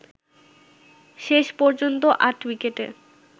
শেষ পর্যন্ত ৮ উইকেটে